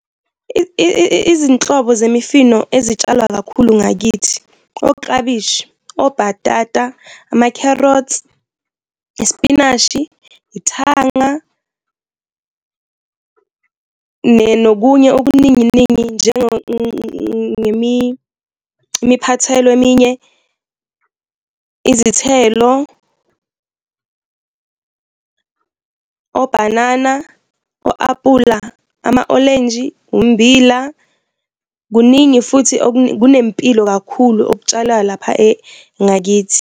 Izinhlobo zemifino ezitshalwa kakhulu ngakithi oklabishi, obhatata, ama-carrots, ispinashi, ithanga nokunye okuninginingi imiphathelo eminye, izithelo, obhanana, o-aphula, ama-olenji, ummbila, kuningi futhi kunempilo kakhulu okutshalayo lapha ngakithi.